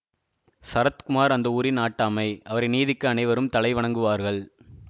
சரத்குமார் அந்த ஊரின் நாட்டாமை அவரின் நீதிக்கு அனைவரும் தலைவணங்குவார்கள்